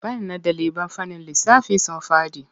Bana ɗaliban fannin lissafi sun faɗi.